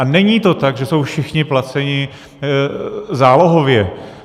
A není to tak, že jsou všichni placeni zálohově.